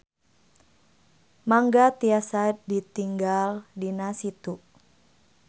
Mangga tiasa ditinggal dina Situ.